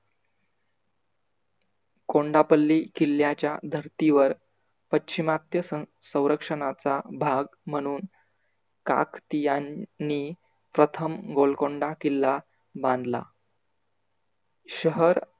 कोंडापल्ली किल्ल्याच्या धरती वर पश्चिमात्य संरक्षनाचा भाग म्हणून काखतीयांनी प्रथम गोलकोंडा किल्ला बांधला. शहर